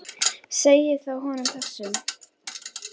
Segið þá honum þessum.